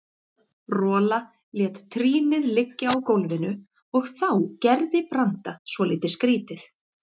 Rola lét trýnið liggja á gólfinu og þá gerði Branda svolítið skrýtið.